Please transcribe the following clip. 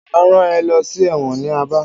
Máa rán ẹ lọ sí ẹ̀wọ̀n ní Aba.